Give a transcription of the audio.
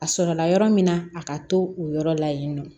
A sɔrɔla yɔrɔ min na a ka to o yɔrɔ la yen nɔ